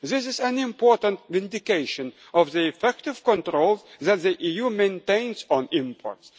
This is an important vindication of the effective controls that the EU maintains on